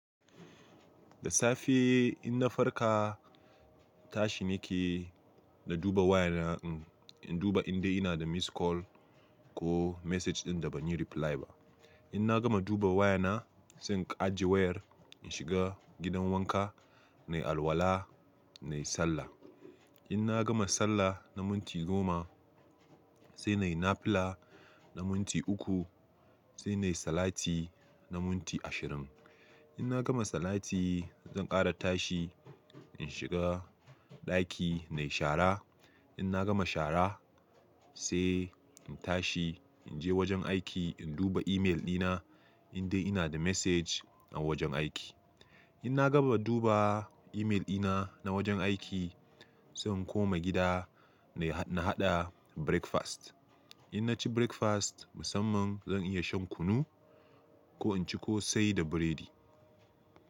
Da safe in na farka, tashi nake, na duba wayana in duba indai ina da missed call ko message ɗin da ban yi reply ba. In na gama duba wayana, zan ajiye wayar in shiga gidan wanka, na yi alwala, na yi sallah. In na gama sallah na minti goma sai na yi nafila na minti uku sai na yi salati na minti ashirin. In na gama salati zan ƙara tashi in shiga ɗaki na yi shara. In na gama shara sai in tashi in je wajen aiki in duba email dina indai ina da message a wajen aiki. In na gama duba email ɗina na wajen aiki zan koma gida na haɗa breakfast. In na ci breakfast musamman zan iya shan kunu ko in ci kosai da biredi.